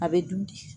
A bɛ dun de